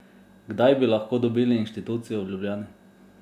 Kdaj bi lahko dobili institucijo v Ljubljani?